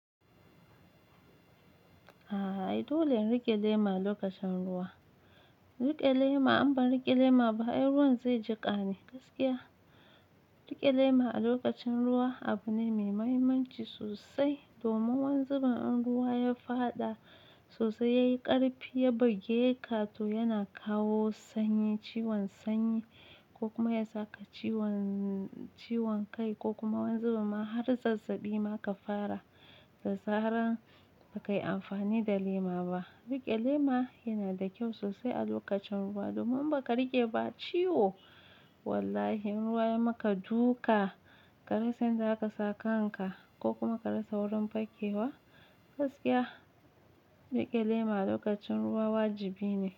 A'a, dole ne ki riƙe lema a lokacin ruwa. Riƙe lema in ba riƙe lema ba, airuwar zai jiƙa ne gaskiya. Riƙe lema a lokacin ruwa abu ne mai mahimmanci sosai. Domin wanzu ban an ruwa ya faɗa sosai, ya yi ƙarfi, ya buge ka to yana kawo sanyi, ciwon sanyi ko kuma ya saka ciwon, ciwon kai ko kuma wanzu ma har zazzabi ma ka fara. Da zaran ba ka yi amfani da lema ba. Riƙe lema yana da kyau sosai a lokacin ruwa. Domin ba ka riƙe ba ciwo wallahi in ruwa ya maka duka, ka rasa inda za ka sa kan ka ko kuma ka rasa wurin fakkewa gaskiya. Riƙe lema a lokacin ruwa wajibi ne.